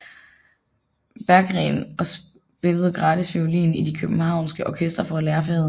Berggreen og spillede gratis violin i de københavnske orkestre for at lære faget